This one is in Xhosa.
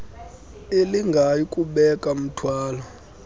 elingayi kubeka mthwalo